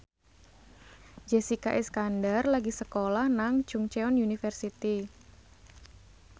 Jessica Iskandar lagi sekolah nang Chungceong University